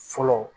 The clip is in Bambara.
Fɔlɔ